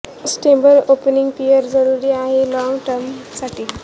stable opening pair जरुरी आहे ना लाँग टर्म साठी